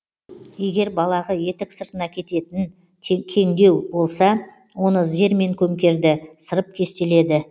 егер балағы етік сыртына кететін кеңдеу болса оны зермен көмкерді сырып кестеледі